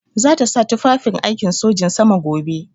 Za ta sa tufafin aikin sojin sama gobe.